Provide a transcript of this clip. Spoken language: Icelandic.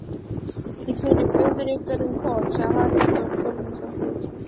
Þið keyrið föður ykkar um koll, sagði Halldóra Þorleifsdóttir.